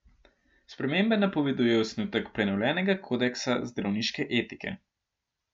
Spremembe napoveduje osnutek prenovljenega kodeksa zdravniške etike.